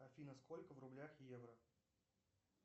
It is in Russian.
афина сколько в рублях евро